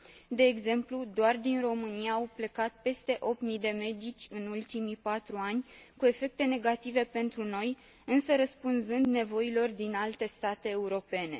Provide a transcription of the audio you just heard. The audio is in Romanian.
De exemplu, doar din România au plecat peste 8 mii de medici în ultimii 4 ani, cu efecte negative pentru noi, însă răspunzând nevoilor din alte state europene.